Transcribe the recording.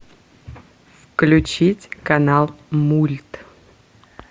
включить канал мульт